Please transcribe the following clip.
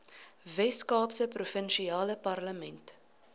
weskaapse provinsiale parlement